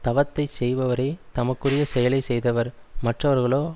தவத்தைச் செய்பவரே தமக்குரிய செயலை செய்தவர் மற்றவர்களோ